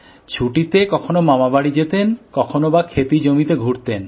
ছুটিতে কখনো মামাবাড়ি যেতেন কখনো বা চাষের জমিতে ঘুরতেন